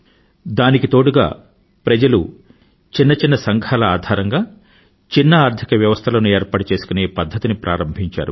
దానికి తోడుగా ప్రజలు చిన్న చిన్న సంఘాల ఆధారంగా చిన్న ఆర్థిక వ్యవస్థలను ఏర్పాటు చేసుకునే పధ్ధతిని ప్రారంభించారు